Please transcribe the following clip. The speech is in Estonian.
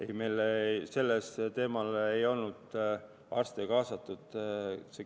Ei, meil ei olnud selle teemaga seoses arste kaasatud.